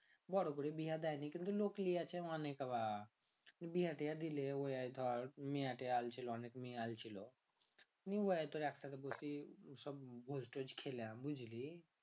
বড়ো করে বিহা দেয় নি কিন্তু বিহা তিহা দিলে ওই ধর মেয়া আইলছিলো অনেক মেয়া তেয়া আইলছিলো খেলাম বুঝলি